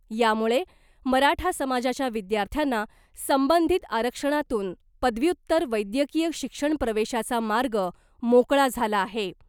यामुळे मराठा समाजाच्या विद्यार्थ्यांना संबंधित आरक्षणातून पदव्युत्तर वैद्यकीय शिक्षण प्रवेशाचा मार्ग मोकळा झाला आहे .